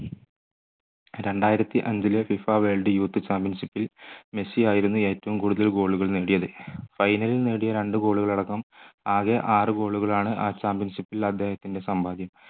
രണ്ടായിരത്തി അഞ്ചിലെ FIFA world youth championship ൽ മെസ്സിയായിരുന്നു ഏറ്റവും കൂടുതൽ goal കൾ നേടിയത് final ൽ നേടിയ രണ്ട് goal കൾ അടക്കം ആകെ ആറ് goal കളാണ് ആ championship ൽ അദ്ദേഹത്തിൻറെ സമ്പാദ്യം